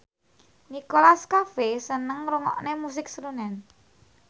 Nicholas Cafe seneng ngrungokne musik srunen